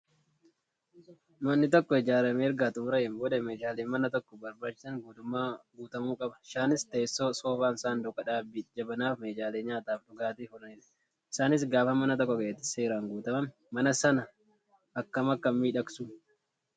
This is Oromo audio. Manni tokko ijaaramee erga xummurameen booda meeshaalee mana tokkoof barbaachisaniin guutamuu qaba, isaanis Teessoo, Soofan, Saanduqa dhaabii, jabanaa fi meeshaalee nyaataf dhugaatif oolanidha .isaanis gaafa mana tokko keessatti seeran guutaman mana sana akkam akka miidhagsu!